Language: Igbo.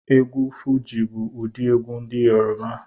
Egwu Fuji bu udi egwu ndi Yoruba